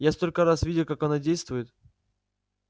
я столько раз видел как она действует